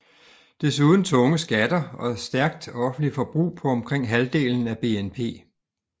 Desuden tunge skatter og stærkt offentligt forbrug på omkring halvdelen af BNP